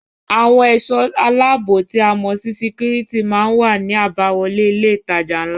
Àwọn ẹ̀sọ́ aláààbò tí a mọ̀ sí security má ń wà ní àbáwọlé ilé ìtajà ńlá